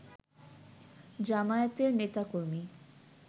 জামায়াতের নেতা-কর্মী